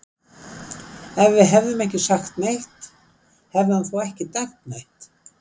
Ef við hefðum ekki sagt neitt, hefði hann þá ekki dæmt neitt?